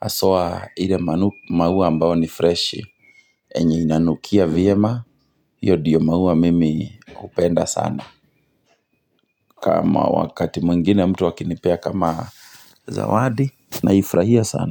haswa ile maua ambayo ni freshi yenye inanukia vyema hiyo ndiyo maua mimi hupenda sana kama wakati mwingine mtu akinipea kama zawadi naifurahia sana.